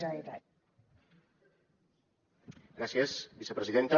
gràcies vicepresidenta